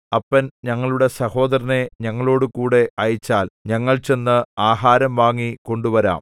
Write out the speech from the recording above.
അപ്പൻ ഞങ്ങളുടെ സഹോദരനെ ഞങ്ങളുടെകൂടെ അയച്ചാൽ ഞങ്ങൾ ചെന്ന് ആഹാരം വാങ്ങി കൊണ്ടുവരാം